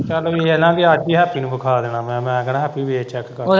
ਚੱਲ ਓਹੀ ਆ ਨਾ ਵੀ ਅੱਜ ਹੀ ਹੈਪੀ ਨੂੰ ਵਿਖਾ ਦੇਣਾ, ਮੈਂ, ਮੈਂ ਕਹਿਣਾ ਹੈਪੀ ਵੇਖ ਚੈੱਕ ਕਰਕੇ।